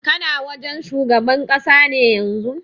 Kana wajen shugaban ƙasa ne yanzun?